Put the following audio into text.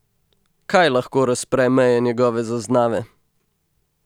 Kaj lahko razpre meje njegove zaznave?